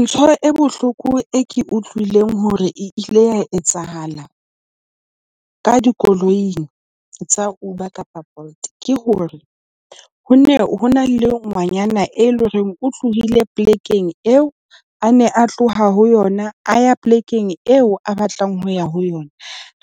Ntho e bohloko e ke utlwileng hore ile ya etsahala ka dikoloing tsa Uber kapa Bolt, ke hore ho ne ho na le ngwanyana e leng hore o tlohile polekeng eo a ne a tloha ho yona, a ya polekeng eo a batlang ho ya ho yona.